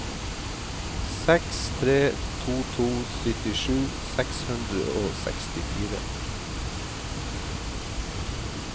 seks tre to to syttisju seks hundre og sekstifire